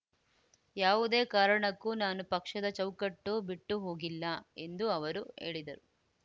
ಯಾವುದೇ ಕಾರಣಕ್ಕೂ ನಾನು ಪಕ್ಷದ ಚೌಕಟ್ಟು ಬಿಟ್ಟುಹೋಗಿಲ್ಲ ಎಂದು ಅವರು ಹೇಳಿದರು